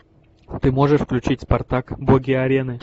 ты можешь включить спартак боги арены